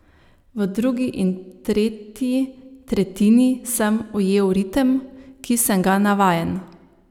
V drugi in tretji tretjini sem ujel ritem, ki sem ga navajen.